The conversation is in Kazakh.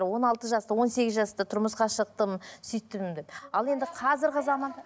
он алты жаста он сегіз жаста тұрмысқа шықтым сөйттім деп ал енді қазіргі заманда